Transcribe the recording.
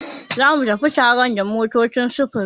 Zamu tafi taron da motocin sufuri.